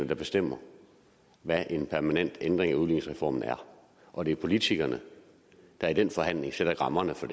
der bestemmer hvad en permanent ændring af udligningsreformen er og det er politikerne der i den forhandling sætter rammerne for